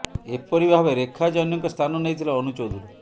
ଏପରି ଭାବେ ରେଖା ଜୈନ୍ଙ୍କ ସ୍ଥାନ ନେଇଥିଲେ ଅନୁ ଚୌଧୁରୀ